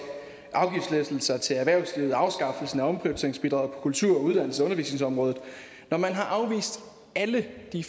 afgiftslettelser til erhvervslivet afskaffelsen af omprioriteringsbidraget på kultur uddannelses og undervisningsområdet når man har afvist alle de